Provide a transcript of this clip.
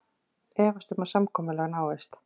Efast um að samkomulag náist